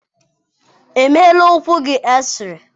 Emeela ụkwụ gị eksịrei?